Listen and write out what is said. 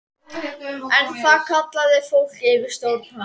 En það kallaði fólk yfirsjón hans.